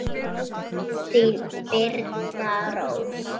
Þín Birna Rós.